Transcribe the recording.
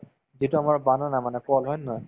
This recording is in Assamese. যিটো আমাৰ banana মানে কল হয় নে নহয়